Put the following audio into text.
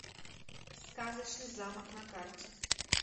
сказочный замок на карте